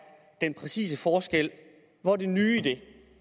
den præcise forskel hvor er det nye i det